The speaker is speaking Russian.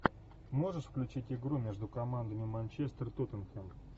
можешь включить игру между командами манчестер тоттенхэм